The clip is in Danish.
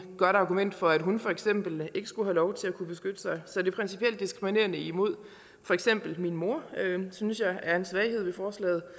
godt argument for at hun for eksempel ikke skulle have lov til at kunne beskytte sig så det er principielt diskriminerende imod for eksempel min mor det synes jeg er en svaghed ved forslaget